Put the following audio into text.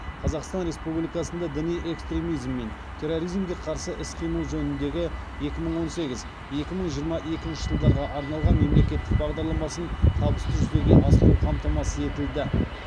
қазақстан республикасында діни экстремизм мен терроризмге қарсы іс қимыл жөніндегі екі мың он сегіз екі мың жиырма екінші жылдарға арналған мемлекеттік бағдарламасын табысты жүзеге асыру қамтамасыз етілді